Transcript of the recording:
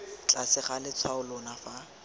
tlase ga letshwao leno fa